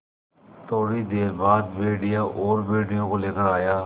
थोड़ी देर बाद भेड़िया और भेड़ियों को लेकर आया